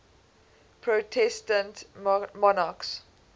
protestant monarchs